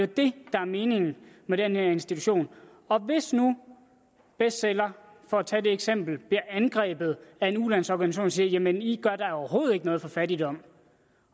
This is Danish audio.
det der er meningen med den her institution hvis nu bestseller for at tage det eksempel bliver angrebet af en ulandsorganisation der siger jamen i gør da overhovedet ikke noget mod fattigdom